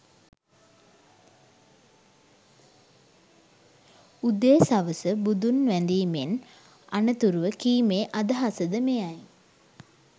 උදේ සවස බුදුන් වැඳීමෙන් අනතුරුව කීමේ අදහස ද මෙයයි